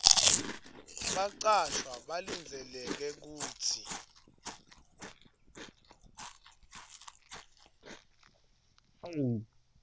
bacashwa balindzeleke kutsi